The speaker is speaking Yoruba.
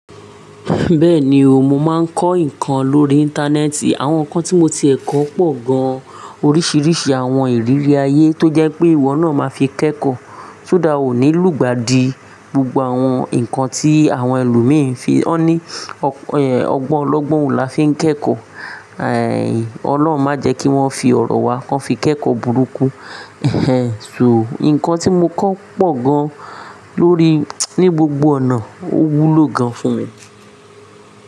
Bẹ́ẹ̀ni o, mo máa ń kọ́ nǹkan lórí Íńtánẹ́ẹ̀tì. Àwọn nǹkan tí mo ti è kọ́ pọ̀ gan-an, oríṣiríṣi àwọn ìrírí ayé tó jẹ́ pé ìwọ náà máa fi kẹ́kọ̀ọ́. Kódà wò nílùú ìgbà di gbogbo àwọn nǹkan tí àwọn ẹlòmíràn fi, ọ́ ní ọgbọ́n ọlọ́gbọ́n ò láfi kẹ́kọ̀ọ́. Ọlọ́run má jẹ́ kí wọ́n fi ọ̀rọ̀ wa kàn fi kẹ́kọ̀ọ́ burúkú. So nǹkan tí mo kọ́ pọ̀ gan-an lórí, ní gbogbo ọ̀nà, ó wúlò gan-an fún mi.